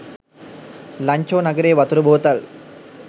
ලන්චෝ නගරයේ වතුර බෝතල්